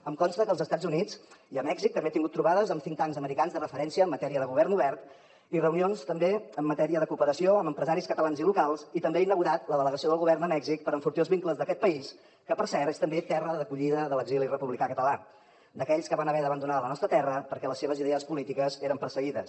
em consta que als estats units i a mèxic també ha tingut trobades amb think tanks americans de referència en matèria de govern obert i reunions també en matèria de cooperació amb empresaris catalans i locals i també ha inaugurat la delegació del govern a mèxic per enfortir els vincles d’aquest país que per cert és també terra d’acollida de l’exili republicà català d’aquells que van haver d’abandonar la nostra terra perquè les seves idees polítiques eren perseguides